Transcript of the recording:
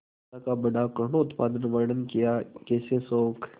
दशा का बड़ा करूणोत्पादक वर्णन कियाकैसे शोक